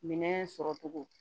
Minɛn sɔrɔ cogo